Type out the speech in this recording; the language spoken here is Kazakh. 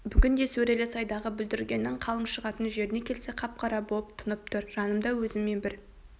бүгін де сөрелі сайдағы бүлдіргеннің қалың шығатын жеріне келсек қап-қара боп тұнып тұр жанымда өзіммен бір